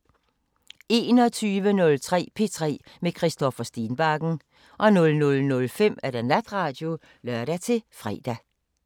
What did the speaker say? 21:03: P3 med Christoffer Stenbakken 00:05: Natradio (lør-fre)